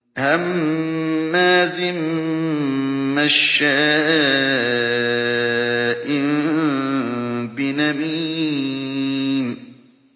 هَمَّازٍ مَّشَّاءٍ بِنَمِيمٍ